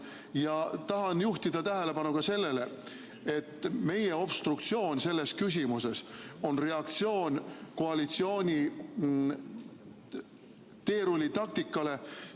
Ja tahan juhtida tähelepanu ka sellele, et meie obstruktsioon selles küsimuses on reaktsioon koalitsiooni teerullitaktikale.